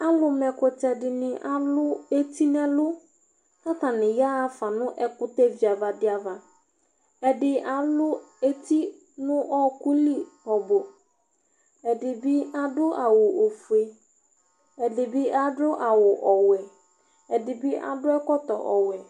Alu ma ɛkutɛ alu eti nɛlu ku atani yaɣa ɖa nu ɛku tɛ viava di ava ɛdi alu eti nuɔku li ɛdibi adu awu ofue ɛdibi adu awu ɛdibi adu ɛkɔtɔ ɔwɛ